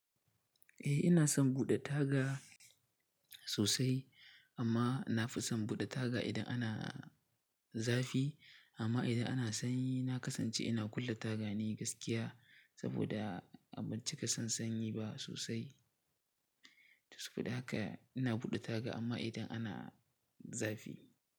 Eh ina son buɗe taga sosai amma na fi son buɗe taga idan ana zafi amma idan ana sanyi na kasance ina kulle taga ne gaskiya saboda a ban cika san sanyi ba sosai. Saboda haka ina buɗe taga amma idan ana zafi.